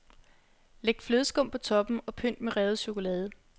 Læg flødeskum på toppen og pynt med revet chokolade.